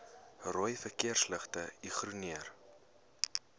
rooi verkeersligte ignoreer